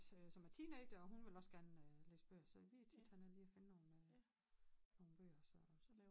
Som er teenager og hun vil også gerne læse bøger så vi er tit hernede lige og finde nogen nogen bøger så